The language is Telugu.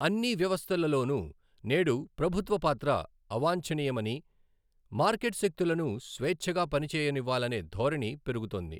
అన్నీ వ్యవస్థలలోనూ నేడు ప్రభుత్వ పాత్ర అవాంచణీయమనీ మార్కెట్ శక్తులను స్వేచ్ఛగా పనిచేయనివ్వాలనే ధోరణి పెరుగుతోంది.